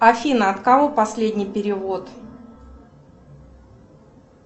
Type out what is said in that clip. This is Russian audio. афина от кого последний перевод